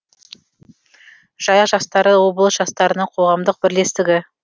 жайық жастары облыс жастарының қоғамдық бірлестігі